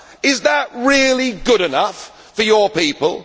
USSR? Is that really good enough for your people?